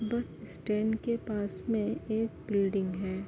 बस स्टैंड के पास में एक बिल्डिंग हैं।